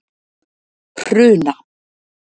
Hruna